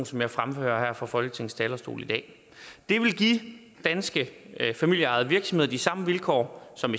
som jeg fremfører her fra folketingets talerstol i dag det vil give danske familieejede virksomheder de samme vilkår som